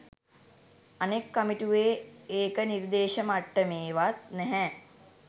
අනෙක් කමිටුවේ ඒක නිර්දේශ මට්ටමේවත් නැහැ